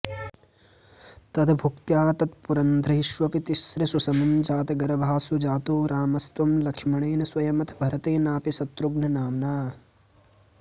तद्भुक्त्या तत्पुरन्ध्रीष्वपि तिसृषु समं जातगर्भासु जातो रामस्त्वं लक्ष्मणेन स्वयमथ भरतेनापि शत्रुघ्ननाम्ना